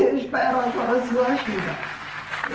Eu espero agora sua ajuda.